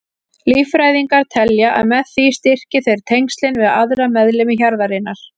Líffræðingar telja að með því styrki þeir tengslin við aðra meðlimi hjarðarinnar.